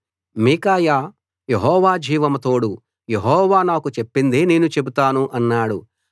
మీకాయా Jehovah జీవం తోడు Jehovah నాకు చెప్పిందే నేను చెబుతాను అన్నాడు